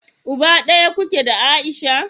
Uba daya kuke da Aisha?